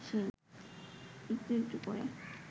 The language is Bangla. একটু একটু করে